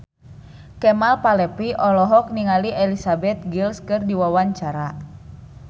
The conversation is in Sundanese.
Kemal Palevi olohok ningali Elizabeth Gillies keur diwawancara